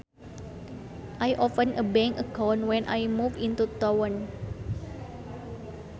I opened a bank account when I moved into town